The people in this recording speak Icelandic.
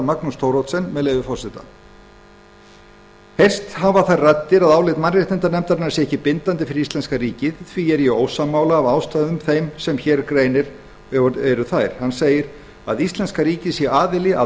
magnús thoroddsen segir að þær raddir hafi heyrst að álit mannréttindanefndarinnar sé ekki bindandi fyrir íslenska ríkið en hann sé því ósammála hann segir að íslenska ríkið sé aðili að